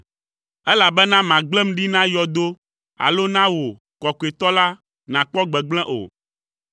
elabena màgblẽm ɖi na yɔdo alo ana wò, Kɔkɔetɔ la, nàkpɔ gbegblẽ o.